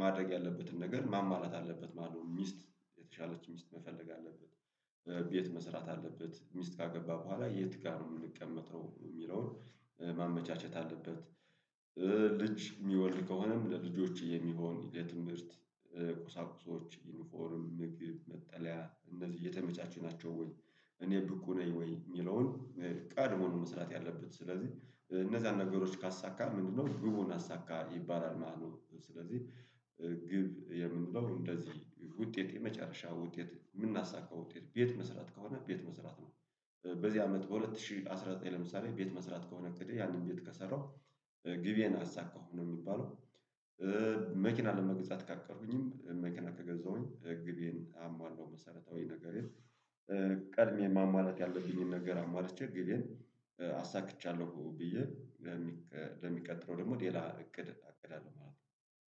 ማድረግ ያለበትን ነገር ማማረጥ አለበት ማለት ነው። ሚስት የተሻለች ሚስት መፈለግ አለበት። ቤት መስራት አለበት ሚስት ካገባ በኋላ የት ጋር ነው የምንቀመጥው የሚለውን ማመቻቸት አለበት። ልጅ የሚወልዱ ከሆነም ለልጆች የሚሆን የትምህርት ቁሳቁሶች ዩኒፎርም ምግብ መጠለያ እነዚህ የተመቻቹ ነው ወይ? እኔ ብቁ ነኝ ወይ የሚለውን። ቀድሞን መስራት ያለበት ስለዚህ እነዛን ነገሮች ካሳካ ምንድነው? ግቡን አሳካ ይባላል ማለት ነው። ስለዚህ ግብ የምንለው እንደዚህ ውጤት የመጨረሻ ውጤት የምናሳካ ውጤት ቤት መስራት ከሆነ ቤት መስራት ነው። በዚህ አመት በሁለት ሺህ አስራ ዘጠኝ ለምሳሌ ቤት መስራት ከሆነ እቅዴ ያንን ቤት ከሰራው ግቤን አሳካሁ ነው የሚባለው። መኪና ለመግዛት ካቀድኩኝም መኪና ከገዛሁኝ ግቤዬን አሟላሁ መሰረታዊ ነገር ቀድሜ ማሟላት ያለብኝን ነገር አሟልቼ ግቤዬን አሳክቻለሁ ብዬ ለሚቀጥለው ደግሞ ሌላ እቅድ አቅዳለሁ ማለት ነው